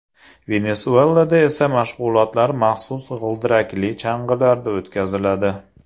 Venesuelada esa mashg‘ulotlar maxsus g‘ildirakli chang‘ilarda o‘tkaziladi.